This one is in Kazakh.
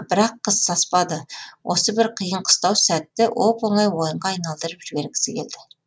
бірақ қыз саспады осы бір қиын қыстау сәтті оп оңай ойынға айналдырып жібергісі келді